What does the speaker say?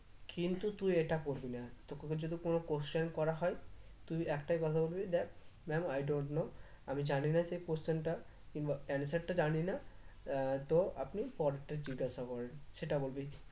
কিন্তু তুই এটা করবি না তোকে যদি কোন question করা হয় তুই একটাই কথা বলবি দেখ ma'am I don't know আমি জানিনা সে question টা কিংবা answer টা জানি না আহ তো আপনি পরেরটা জিজ্ঞেস করেন সেটা বলবি